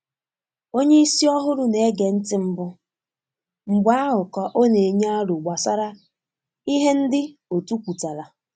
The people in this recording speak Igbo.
Onye isi ọhụrụ na-ege ntị mbụ, mgbe ahụ ka ọ na-enye aro gbasara ihe ndị otu kwutara.